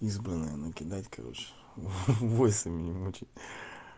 в избранное накидать короче войсами не мучать